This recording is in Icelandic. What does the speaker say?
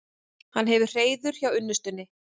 Hann hefur hreiður hjá unnustunni.